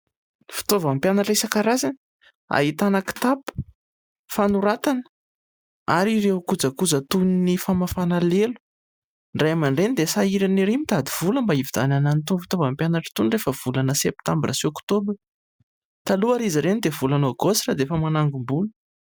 Fitaovan'ny mpianatra isan-karazany. Ahitana kitapo, fanoratana ary ireo kojakoja toy ny famafana lelo. Ny Ray aman-dReny dia sahirana ery mitady vola mba hividianana an'itony fitaovan'ny mpianatra itony rehefa volana Septambra sy Oktobra. Taloha ary izy ireny dia volana Aogositra dia efa managombola.